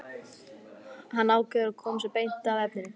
Hann ákveður að koma sér beint að efninu.